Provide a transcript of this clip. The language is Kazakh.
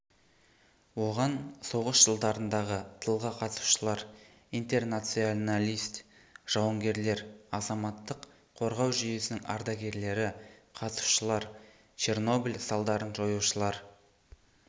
оған соғыс жылдарындағы тылға қатысушылар интернационалист жауынгерлер азаматтық қорғау жүйесінің ардагерлері қатысушылар чернобыль салдарын жоюшылар